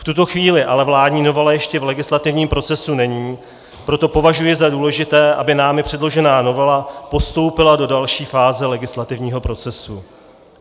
V tuto chvíli ale vládní novela ještě v legislativním procesu není, proto považuji za důležité, aby námi předložená novela postoupila do další fáze legislativního procesu.